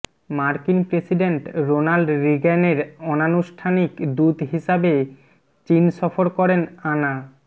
মার্কিন president Ronald রিগ্যানের অনানুষ্ঠানিক দূত হিসাবে চীন সফর করেন আনা